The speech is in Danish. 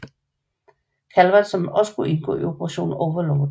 Calvert som skulle indgå i Operation Overlord